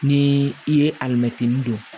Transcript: Ni i ye alimɛtinin don